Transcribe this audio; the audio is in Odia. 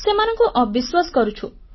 ସେମାନଙ୍କୁ ଅବିଶ୍ୱାସ କରୁଛୁ